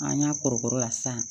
An y'a kɔrɔbɔrɔ la sisan